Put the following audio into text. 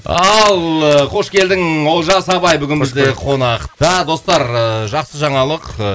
ал ы қош келдің олжас абай бізде бүгін қонақта достар ыыы жақсы жаңалық